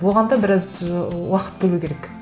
оған да біраз ы уақыт бөлу керек